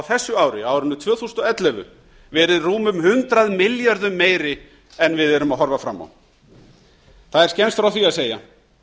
þessu ári á árinu tvö þúsund og ellefu verið rúmum hundrað milljörðum meiri en við erum að horfa fram á það er fremst frá því að segja